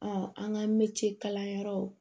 an ka mɛtiri kalanyɔrɔ